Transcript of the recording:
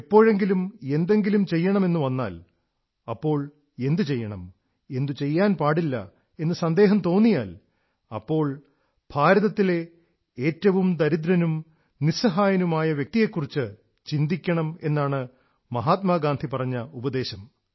എപ്പോഴെങ്കിലും എന്തെങ്കിലും ചെയ്യണമെന്നുവന്നാൽ അപ്പോൾ എന്തു ചെയ്യണം എന്തു ചെയ്യാൻ പാടില്ല എന്ന് സന്ദേഹം തോന്നിയാൽ ഉടനെ ഭാരതത്തിലെ ഏറ്റവും ദരിദ്രനും നിസ്സഹായനുമായ വ്യക്തിയെക്കുറിച്ച് ചിന്തിക്കണം എന്നാണ് മഹാത്മാ ഗാന്ധി പറഞ്ഞ ഉപദേശം